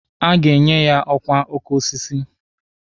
A ga-enye ya ọkwa oke osisi.